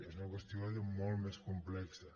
és una qüestió molt més complexa